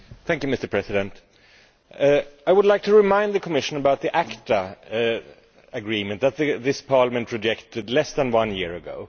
Mr President, I would like to remind the Commission about the ACTA agreement that this Parliament rejected less than one year ago.